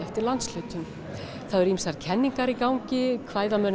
eftir landshlutum það eru ýmsar kenningar í gangi